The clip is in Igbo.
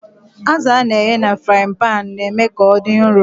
Azụ a na-eghe na frain-panu na-eme ka ọ dị nro.